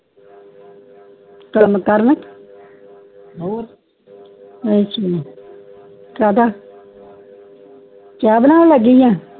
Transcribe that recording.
ਕਾਮ ਕਰਨ ਅੱਛਾ ਕਾਦਾ ਚਾਅ ਬਣਾਉਣ ਲੱਗੀ ਆ